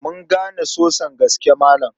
Mun gane sosan gaske Malam.